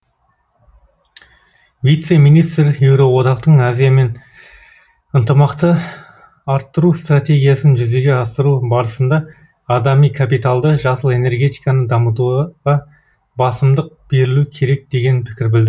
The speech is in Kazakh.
вице министр еуроодақтың азиямен ынтымақты арттыру стратегиясын жүзеге асыру барысында адами капиталды жасыл энергетиканы дамытуға басымдық берілу керек деген пікір білдірді